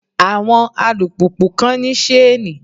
Àwọn alùpùpù kan ní ṣéènì.